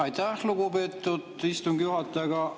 Aitäh, lugupeetud istungi juhataja!